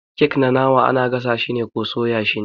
kek na nama ana gasa shi ko soya shi ne.